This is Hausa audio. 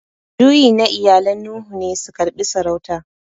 Juyi na iyalan Nuhu ne su karbi saurauta.